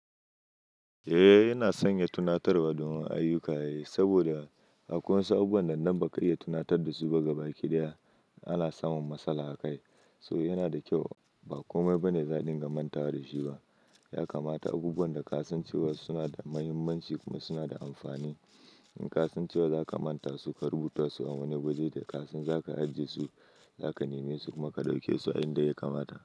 Eh yana sanya tunatarwa don ayyuka saboda akwai wasu abubuwan da nan ba ka iya tunatar da su ba ga baki ɗaya ana samun matsala a kai. So yana da kyau ba komai ba ne za a dinga mantaw da shi ba. Ya kamata abubuwan da ka san cewa suna da muhimmanci kuma suna da amfani. In ka san cewa za ka manta su, ka rubuta su a wani wuri da ka san za ka aje su, za ka neme su kuma ka ɗauke su a inda ya kamata.